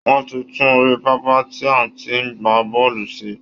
Wọ́n ti tún orí pápá tí a ti ń gbá bọ́ọ̀lù ṣe